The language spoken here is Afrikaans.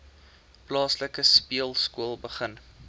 plaaslike speelskool begin